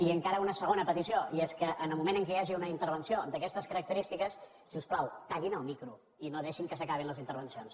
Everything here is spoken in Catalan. i encara una segona petició i és que en el moment en què hi hagi una intervenció d’aquestes característi·ques si us plau tallin el micro i no deixin que s’acabin les intervencions